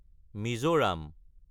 Mizoram